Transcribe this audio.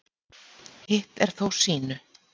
Hitt er þó sýnu